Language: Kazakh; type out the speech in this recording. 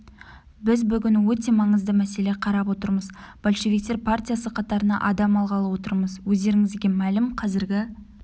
біз бүгін өте маңызды мәселе қарап отырмыз большевиктер партиясы қатарына адам алғалы отырмыз өздеріңізге мәлім қазіргі